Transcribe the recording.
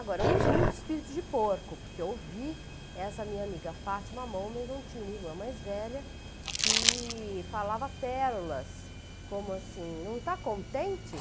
Agora, uns muitos espíritos de porco, porque eu ouvi essa minha amiga Fátima Momenzon, tinha uma irmã mais velha, que falava pérolas, como assim, não está contente?